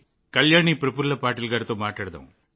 కళ్యాణి ప్రఫుల్ల పాటిల్తో మాట్లాడుదాం